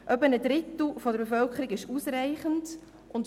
Etwa ein Drittel der Bevölkerung erreicht einen ausreichenden Wert.